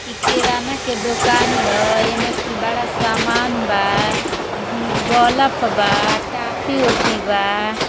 इ किराना के दुकान ह। एमें कुल बड़ा सामान बा। म बलफ बा। टाफी ओफी बा।